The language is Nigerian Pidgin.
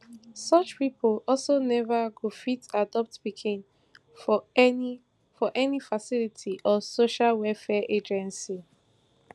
such pipo also neva go fit adopt pikin for any for any facility or social welfare agency